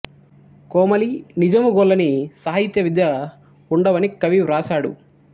కోమలి నిజము గొల్ల ని సాహిత్య విద్య ఉండవని కవి వ్రాశాడు